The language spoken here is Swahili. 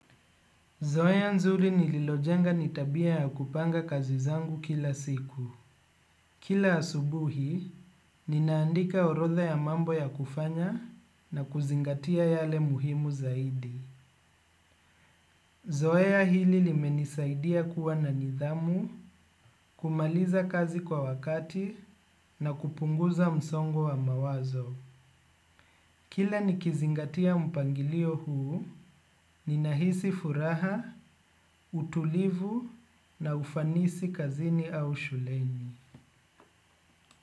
Zoeya nzuri nililojenga nitabia ya kupanga kazi zangu kila siku. Kila asubuhi, ninaandika orotha ya mambo ya kufanya na kuzingatia yale muhimu zaidi. Zoeya hili limenisaidia kuwa na nidhamu, kumaliza kazi kwa wakati na kupunguza msongo wa mawazo. Kila nikizingatia mpangilio huu, ninahisi furaha, utulivu na ufanisi kazini au shuleni.